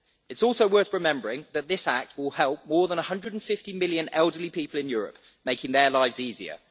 It is also worth remembering that this act will help more than 150 million elderly people in Europe, making their lives easier.